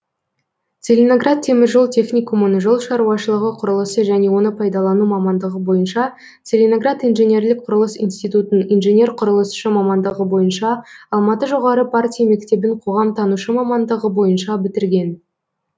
целиноград теміржол техникумын жол шаруашылығы құрылысы және оны пайдалану мамандығы бойынша целиноград инженерлік құрылыс институтын инженер құрылысшы мамандығы бойынша алматы жоғары партия мектебін қоғамтанушы мамандығы бойынша бітірген